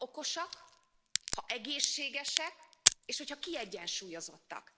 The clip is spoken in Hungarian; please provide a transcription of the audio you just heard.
Ha okosak, ha egészségesek, és hogyha kiegyensúlyozottak.